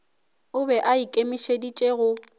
o be a ikemišeditše go